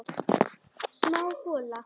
Smá gola.